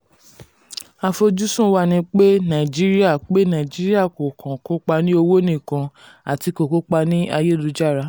àfojúsùn wá ni pé naijiria pé naijiria kò kan kópa ní owó nìkan ati ko kópa ní ayélu-jára.